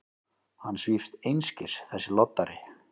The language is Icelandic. Hann svífst einskis, þessi loddari!